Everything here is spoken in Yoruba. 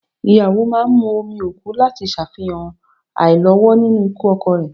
Ìyàwó máa ń mu omi òkú láti ṣàfihàn àìlọ́wọ́ nínú ikú ọkọ rẹ